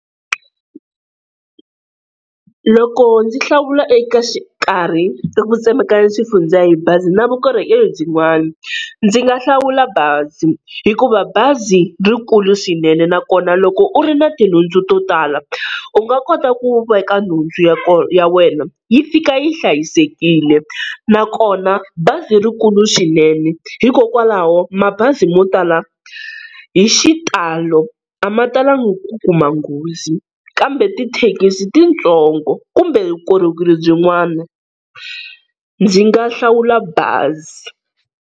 Loko ndzi hlawula eka xikarhi ka ku tsemekanya swifundza hi bazi na vukorhokeri byin'wani, ndzi nga hlawula bazi hikuva bazi rikulu swinene, nakona loko u ri na tinhundzu to tala u nga kota ku veka nhundzu ya ya wena yi fika yi hlayisekile. Nakona bazi rikulu swinene hikokwalaho mabazi mo tala hi xitalo a ma talanga ku kuma nghozi kambe tithekisi titsongo kumbe vukorhokeri byin'wana ndzi nga hlawula bazi.